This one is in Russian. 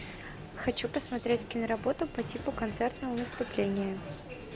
хочу посмотреть киноработу по типу концертного выступления